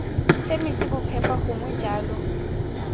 fe metsi bophepa gongwe jalo